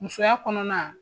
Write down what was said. Musoya kɔnɔna